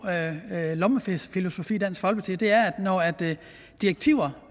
lommefilosofi i dansk folkeparti og det er at når direktiver